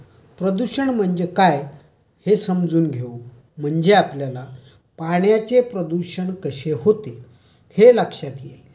प्रदूषण म्हणजे काय हे समजून घेऊ. म्हणजे आपल्याला पाण्याचे प्रदूषण कसे होते हे लक्षात येईल.